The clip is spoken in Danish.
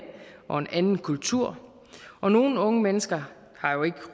og en anden kultur og nogle unge mennesker har jo ikke